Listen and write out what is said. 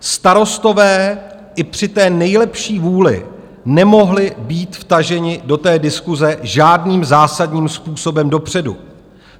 Starostové i při té nejlepší vůli nemohli být vtaženi do té diskuse žádným zásadním způsobem dopředu.